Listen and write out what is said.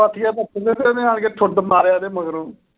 ਪਾਥੀਆਂ ਪਥਣ ਤੇ ਆਣ ਕੇ ਠੂਡ ਮਾਰੀਆ ਇਹਦੇ ਮਗਰੋਂ।